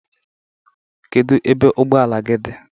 Kedu ebe ụgbọ ala gị di?